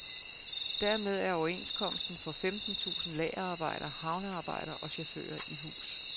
Dermed er overenskomsten for femten tusind lagerarbejdere, havnearbejdere og chauffører i hus.